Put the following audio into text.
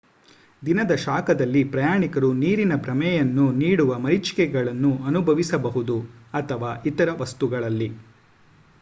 ದಿನದ ಶಾಖದಲ್ಲಿ ಪ್ರಯಾಣಿಕರು ನೀರಿನ ಭ್ರಮೆಯನ್ನು ನೀಡುವ ಮರೀಚಿಕೆಗಳನ್ನು ಅನುಭವಿಸಬಹುದು ಅಥವಾ ಇತರ ವಸ್ತುಗಳಲ್ಲಿ